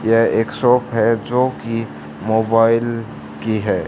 यह एक शॉप है जो कि मोबाइल की है।